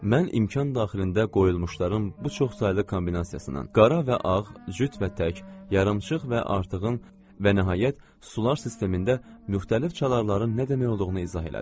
Mən imkan daxilində qoyulmuşların bu çoxsaylı kombinasiyasından, qara və ağ, cüt və tək, yarımçıq və artığın və nəhayət sular sistemində müxtəlif çalarların nə demək olduğunu izah elədim.